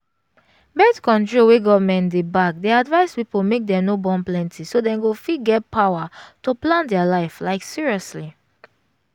birth-control wey government dey back dey advise people make dem no born plenty so them go fit get power to plan their life like seriously